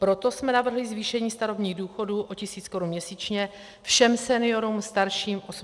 Proto jsme navrhli zvýšení starobních důchodů o tisíc korun měsíčně všem seniorům starším 85 let.